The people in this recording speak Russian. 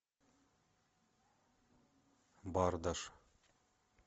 бардаш